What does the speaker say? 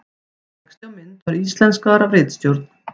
Texti á mynd var íslenskaður af ritstjórn.